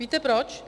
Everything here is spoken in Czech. Víte proč?